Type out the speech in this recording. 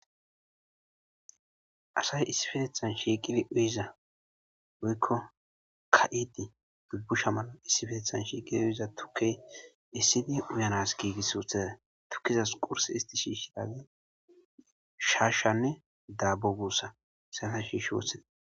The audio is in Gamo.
Asay issifetethan shiiqidi uyiza goykko ka7idi dubbusha mala issifetethan shiiqid uiza tuke issidi uyanas giigis suuthaza tukkizas qurse isti shiishiali shaashanne daabo guussa sasa shiish wotheda.